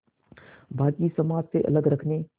बाक़ी समाज से अलग रखने